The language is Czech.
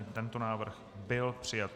I tento návrh byl přijat.